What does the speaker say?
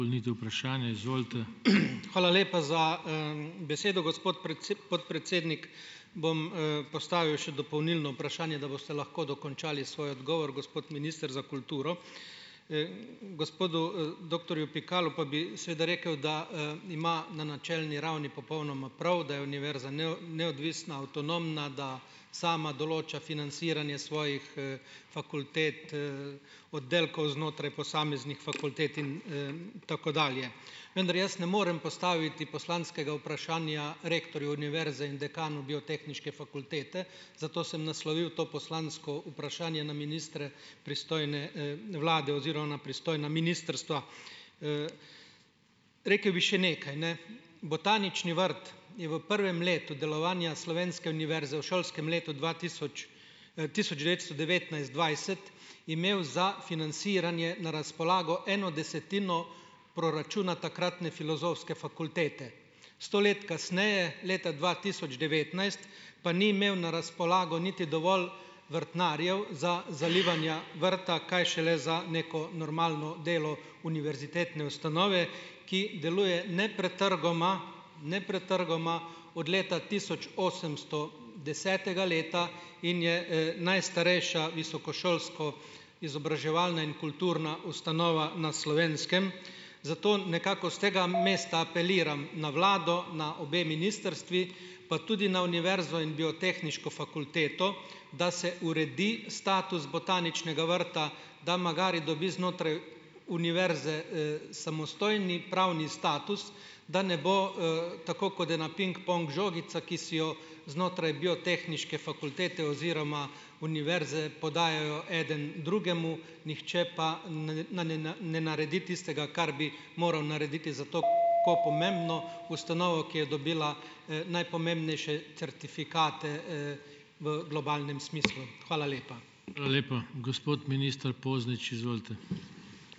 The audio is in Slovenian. Hvala lepa za, besedo, gospod podpredsednik. Bom, postavil še dopolnilno vprašanje, da boste lahko dokončali svoj odgovor, gospod minister za kulturo. gospodu, doktorju Pikalu pa bi seveda rekel, da, ima na načelni ravni popolnoma prav, da je univerza neodvisna, avtonomna, da sama določa financiranje svojih, fakultet, oddelkov znotraj posameznih fakultet in, tako dalje. Vendar jaz ne morem postaviti poslanskega vprašanja rektorju univerze in dekanu Biotehniške fakultete, zato sem naslovil to poslansko vprašanje na ministre pristojne, vlade oziroma na pristojna ministrstva. Rekel bi še nekaj, botanični vrt je v prvem letu delovanja slovenske univerze v šolskem letu dva tisoč, tisoč devetsto devetnajst - dvajset imel za financiranje na razpolago eno desetino proračuna takratne Filozofske fakultete. Sto let kasneje, leta dva tisoč devetnajst, pa ni imel na razpolago niti dovolj vrtnarjev za zalivanja vrta, kaj šele za neko normalno delo univerzitetne ustanove, ki deluje nepretrgoma, nepretrgoma od leta tisoč osemsto desetega leta in je, najstarejša visokošolska, izobraževalna in kulturna ustanova na Slovenskem, zato nekako s tega mesta apeliram na vlado, na obe ministrstvi, pa tudi na univerzo in Biotehniško fakulteto, da se uredi status Botaničnega vrta, da magari dobi znotraj univerze, samostojni pravni status, da ne bo, tako kod ena pingpong žogica, ki si jo znotraj Biotehniške fakultete oziroma univerze podajajo eden drugemu, nihče pa ne naredi tistega, kar bi moral narediti za pomembno ustanovo, ki je dobila, najpomembnejše certifikate, v globalnem smislu. Hvala lepa.